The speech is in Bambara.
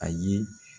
Ayi